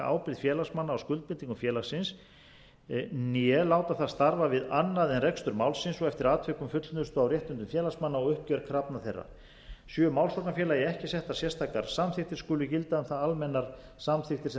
ábyrgð félagsmanna á skuldbindingum félagsins né láta það starfa við annað en rekstur málsins og eftir atvikum fullnustu á réttindum félagsmanna og uppgjör krafna þeirra sé málsóknarfélagi ekki settar sérstakar samþykktir skuli gilda um það almennar samþykktir sem